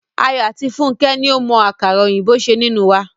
Ayọ̀ àti Fúnkẹ́ ni ó mọ àkàrà òyìnbó ṣe nínú wa.